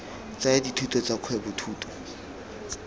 tsaya dithuto tsa kgwebo thuto